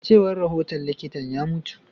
A cewar rahoton likitan, ya mutu.